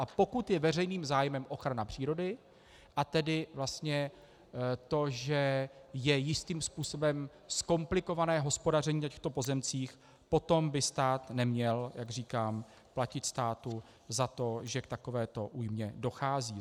A pokud je veřejným zájmem ochrana přírody, a tedy vlastně to, že je jistým způsobem zkomplikované hospodaření na těchto pozemcích, potom by stát neměl, jak říkám, platit státu za to, že k takovéto újmě dochází.